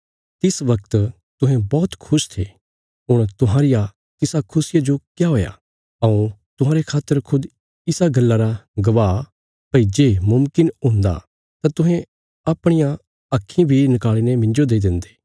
तिस वगत तुहें बौहत खुश थे हुण तुहांरिया तिसा खुशिया जो क्या हुया हऊँ तुहांरे खातर खुद इसा गल्ला रा गवाह भई जे मुमकिन हुन्दा तां तुहें अपणियां आक्खीं बी नकाल़ीने मिन्जो देई देन्दे